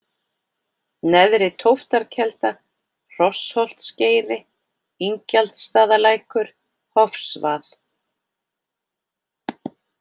Neðri-Tóftarkelda, Hrossholtsgeiri, Ingjaldsstaðalækur, Hofsvað